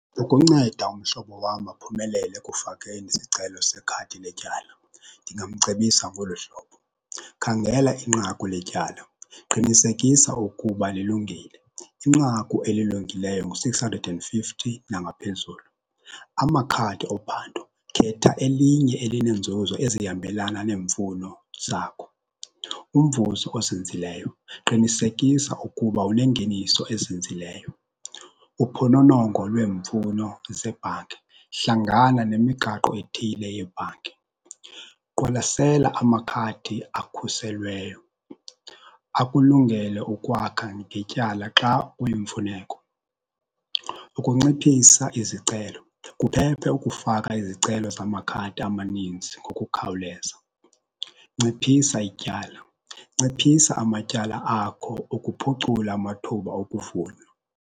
Ukunceda umhlobo wam aphumelele ekufakeni isicelo sekhadi letyala ndingamcebisa ngolu hlobo. Khangela inqaku letyala, qinisekisa ukuba lilungile, inqaku elilungileyo ngu-six hundred and fifty nangaphezulu. Amakhadi ophando, khetha elinye elineenzuzo ezihambelana neemfuno zakho. Umvuzo ozinzileyo, qinisekisa ukuba unengeniso ezinzileyo. Uphononongo lweemfuno zebhanki, hlangana nemigaqo ethile yebhanki, qwalasela amakhadi akhuselweyo akulungele ukwakha ngetyala xa kuyimfuneko. Ukunciphisa izicelo, kuphephe ukufaka izicelo zamakhadi amaninzi ngokukhawuleza. Nciphisa ityala, nciphisa amatyala akho ukuphucula amathuba okuvunywa.